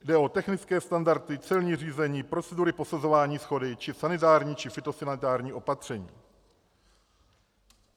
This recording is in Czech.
Jde o technické standardy, celní řízení, procedury prosazování shody či sanitární či fytosanitární opatření.